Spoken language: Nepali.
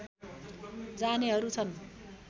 जानेहरू छन्